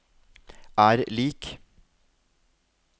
er lik